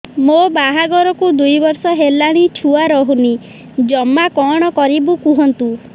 ମୋ ବାହାଘରକୁ ଦୁଇ ବର୍ଷ ହେଲାଣି ଛୁଆ ରହୁନି ଜମା କଣ କରିବୁ କୁହନ୍ତୁ